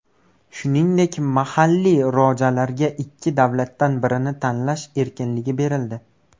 Shuningdek, mahalliy rojalarga ikki davlatdan birini tanlash erkinligi berildi.